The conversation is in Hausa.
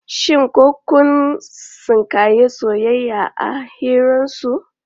Shin ko kun tsinkayi soyayya a hirarsu?